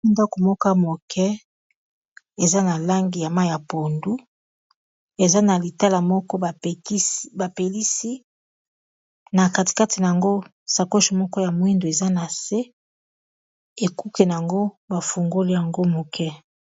ndako moko moke eza na langi ya mai ya pondu eza na tala moko bapelisi na katikati na yango ,sakoche moko ya moindo eza na se ekuke na yango bafungoli yango moke